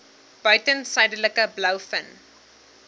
buiten suidelike blouvin